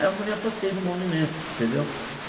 Aí eu me afastei do movimento, entendeu?